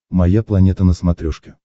моя планета на смотрешке